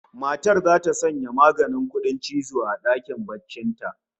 Matar zata sanya maganin kudin cizo a dakin barcin ta